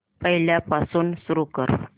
पहिल्यापासून सुरू कर